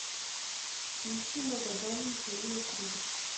включи магадан михаила круга